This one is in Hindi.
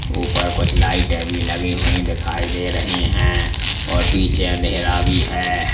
ऊपर कुछ लाइटें भी लगे हुए दिखाई दे रहे हैं और पीछे अंधेरा भी है।